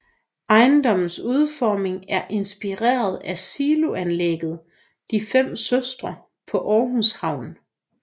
Ejendommens udformning er inspireret af siloanlægget De fem søstre på Aarhus Havn